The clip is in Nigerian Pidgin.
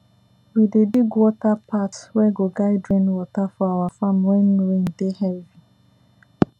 we dey dig water path wey go guide rain water for our farm when rain dey heavy